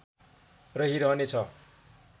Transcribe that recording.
रहिरहने छ